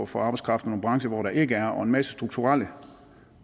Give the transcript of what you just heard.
for arbejdskraft og nogle brancher hvor der ikke er og en masse strukturelle